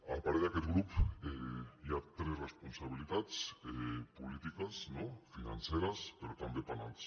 al parer d’aquest grup hi ha tres responsabilitats polí·tiques no financeres però també penals